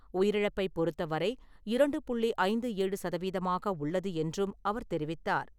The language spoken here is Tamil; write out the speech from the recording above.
உயிரிழப்பைப் பொறுத்தவரை இரண்டு புள்ளி ஐந்து ஏழு சதவீதமாக உள்ளது என்றும் அவர் தெரிவித்தார்.